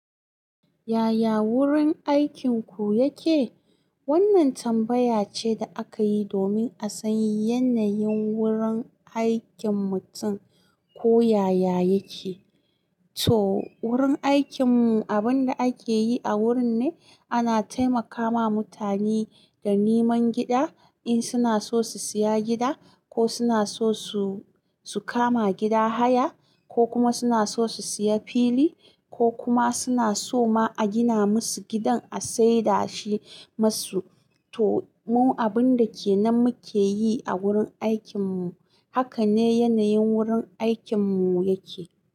Yaya wurin aikinku yake? Wannan tambaya ce da aka yi domin a san yanayin wurin aikin mutum ko yaya yake. To wurin aikinmu, abin da ake yi a wurin ne ana taimakawa mutane da niman gida in suna so su siya gida ko suna so su, su kama gida haya ko kuma suna so su siya fili ko kuma suna so ma a gina musu gidan a saida shi musu. To mu abun da ke nan muke yi a wurin aikinmu. Haka ne yanayin wurin aikinmu yake.